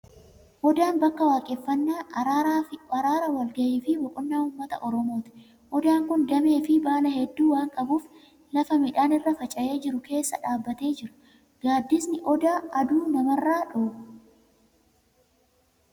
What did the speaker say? Odaan bakka waaqeffannaa, araaraa, wal ga'ii fi boqonnaa uummata Oromooti. Odaan kun damee fi baala hedduu waan qabuuf, lafa midhaan irra faca'ee jiru keessa dhaabbatee jira. Gaaddisni odaa aduu namarraa dhowwa.